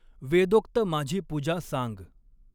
वेदोक्त माझी पूजा सांग।